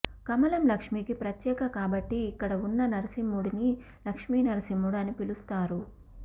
కమలం లక్ష్మీకి ప్రతీక కాబట్టి ఇక్కడ ఉన్న నారసింహుడిని లక్ష్మీ నారసింహుడు అని పిలుస్తారు